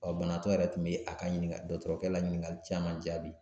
banabaatɔ yɛrɛ tun bɛ a ka ɲiningali, dɔtɔrɔkɛ la ɲiningali caman jaabi